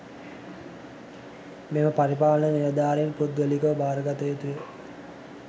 මෙම පරිපාලන නිලධාරීන් පුද්ගලිකව භාරගත යුතුය